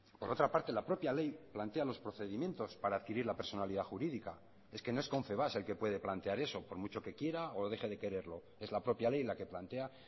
por otra parte la propia ley plantea los procedimientos para adquirir la personalidad jurídica es que no es confebask el que puede plantear eso por mucho que quiera o deje de quererlo es la propia ley la que plantea